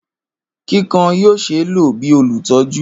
Kikan yoo ṣee lo bi olutọju.